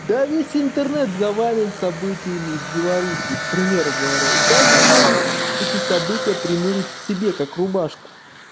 да весь интернет завален событиями из беларуси к примеру говоря и каждый может эти события примерить к себе как рубашку